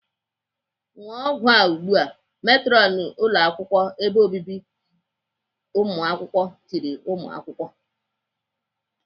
"ṅụọ ọgwụ a ugbu a!" Metrọnu ụlọakwụkwọ ebe obibi ụmụakwụkwọ tiri nwa akwụkwọ.